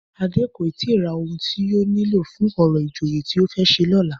Adé kò ì tíì ra ohun tí yóò nílò fún orò ìjòyè tí ó fẹ́ ṣe lọ́la